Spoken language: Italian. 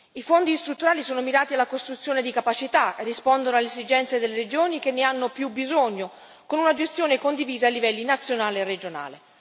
I Fondi strutturali sono mirati alla costruzione di capacità, rispondono alle esigenze delle regioni che ne hanno più bisogno, con una gestione condivisa ai livelli nazionale e regionale.